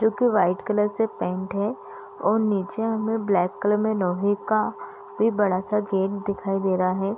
जो की white colour से पेंट है और नीचे हमे ब्लैक कलर में लोहे का भी बड़ा सा गेट दिखाई दे रहा है ।